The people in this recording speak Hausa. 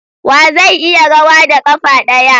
Wa zai iya rawa da kafa daya?